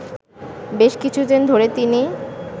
বেশ কিছুদিন ধরে তিনি